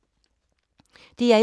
DR1